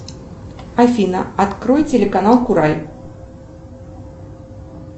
афина открой телеканал курай